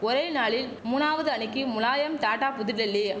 ஒரே நாளில் மூணாவது அணிக்கு முலாயம் டாடா புதுடெல்லி